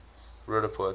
roodepoort